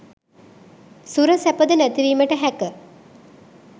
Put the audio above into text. සුර සැපද නැති වීමට හැක